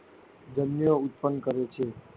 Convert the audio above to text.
જન્યુઓ ઉત્પન્ન કરે છે.